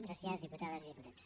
gràcies diputades i diputats